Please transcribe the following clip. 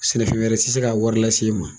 Sɛnɛfɛn wɛrɛ tɛ se k'a wari lase i ma